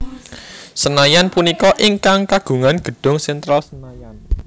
Senayan punika ingkang kagungan gedung Sentral Senayan